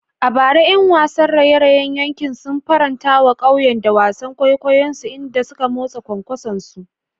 A bara, ƴan wasan raye-rayen yankin sun faranta wa ƙauyen da wasan kwaikwayonsu, inda suka motsa kwankwasonsu.